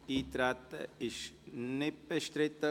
– Das Eintreten ist nicht bestritten.